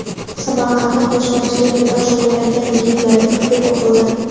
Samarqandda qo‘shmachilik bilan shug‘ullangan yigitlarga hukm o‘qildi.